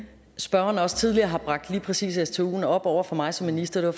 at spørgeren også tidligere har bragt lige præcis stuen op over for mig som minister det